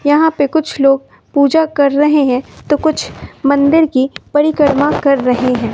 यहां पे कुछ लोग पूजा कर रहे हैं तो कुछ मंदिर की परिक्रमा कर रहे हैं।